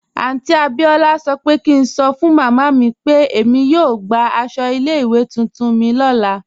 Aunty Abiola sọ́ pẹ̀ kí ǹ sọ́ fun màmá mi pe èmi yóò gbà àṣọ ilẹ̀-iwé tuntun mi lọ́lá.